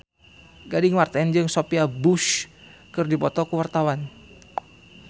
Gading Marten jeung Sophia Bush keur dipoto ku wartawan